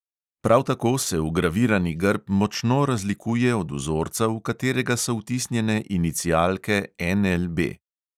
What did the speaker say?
Prav tako se vgravirani grb močno razlikuje od vzorca, v katerega so vtisnjene inicialke NLB.